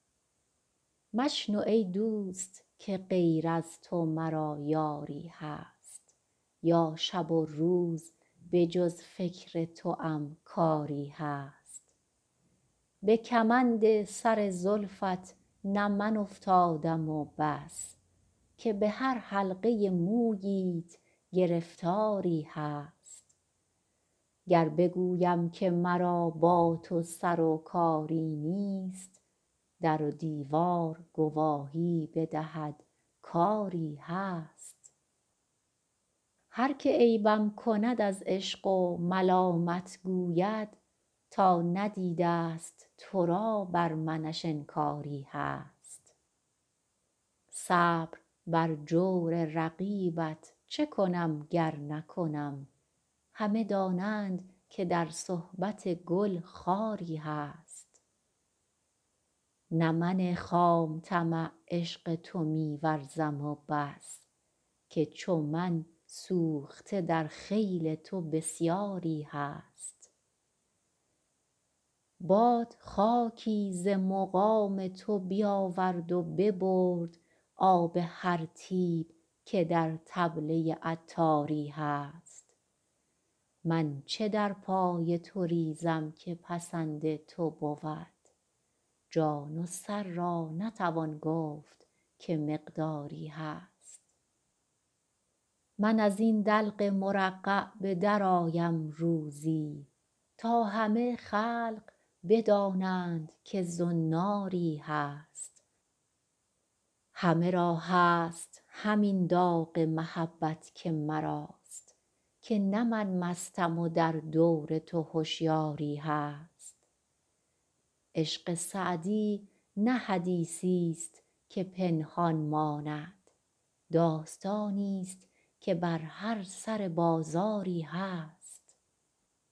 مشنو ای دوست که غیر از تو مرا یاری هست یا شب و روز به جز فکر توام کاری هست به کمند سر زلفت نه من افتادم و بس که به هر حلقه موییت گرفتاری هست گر بگویم که مرا با تو سر و کاری نیست در و دیوار گواهی بدهد کآری هست هر که عیبم کند از عشق و ملامت گوید تا ندیده است تو را بر منش انکاری هست صبر بر جور رقیبت چه کنم گر نکنم همه دانند که در صحبت گل خاری هست نه من خام طمع عشق تو می ورزم و بس که چو من سوخته در خیل تو بسیاری هست باد خاکی ز مقام تو بیاورد و ببرد آب هر طیب که در کلبه عطاری هست من چه در پای تو ریزم که پسند تو بود جان و سر را نتوان گفت که مقداری هست من از این دلق مرقع به درآیم روزی تا همه خلق بدانند که زناری هست همه را هست همین داغ محبت که مراست که نه مستم من و در دور تو هشیاری هست عشق سعدی نه حدیثی است که پنهان ماند داستانی است که بر هر سر بازاری هست